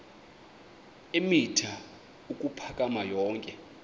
eemitha ukuphakama yonke